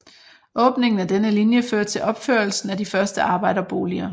Åbningen af denne linje fører til opførelsen af de første arbejderboliger